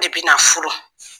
Ne bɛ na furu.